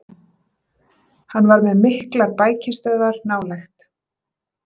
Hann var með miklar bækistöðvar nálægt